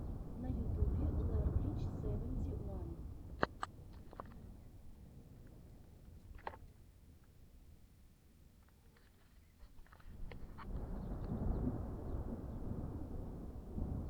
на ютюбе лерблич севенти уан